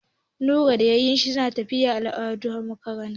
Nura da 'ya'yan shi sun tafi yin addu'a a maƙabarta.